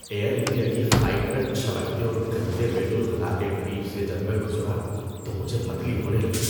Year India کی flight میں چھلکتے اور گندے بیت الخلا کے قریب سے جب میں گزرا تو مجھے متلی ہونے لگی۔